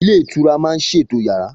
Ilé ìtura máa ṣètò yàrá